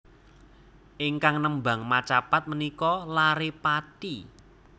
Ingkang nembang macapat menika lare Pati